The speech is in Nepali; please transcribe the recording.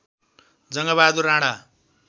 जङ्गबहादुर राणा